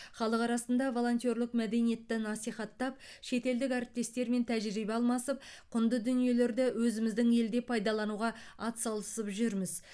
халық арасында волонтерлік мәдениетті насихаттап шетелдік әріптестермен тәжірибе алмасып құнды дүниелерді өзіміздің елде пайдалануға ат салысып жүрміз